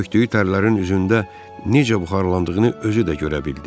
Tökdüyü tərlərin üzündə necə buxarlandığını özü də görə bildi.